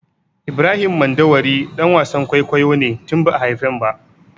Ibrahim Mandawari ɗan wasan kwaikwayo ne tun ba'a haifen ba.